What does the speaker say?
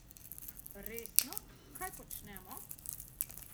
Resno, kaj počnemo?